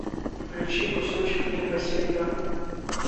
включи кусочек неба серьга